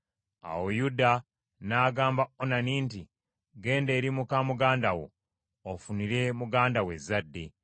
Awo Yuda n’agamba Onani nti, “Genda eri muka muganda wo, ofunire muganda wo ezzadde.”